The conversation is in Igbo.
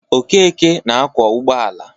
Okeke na-akwọ ụgbọala.